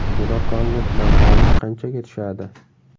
To‘laqonli dam olish qanchaga tushadi?